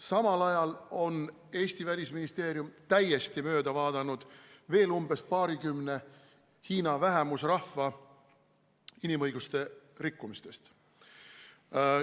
Samal ajal on Eesti Välisministeerium täiesti mööda vaadanud veel umbes paarikümne Hiina vähemusrahva inimõiguste rikkumistest.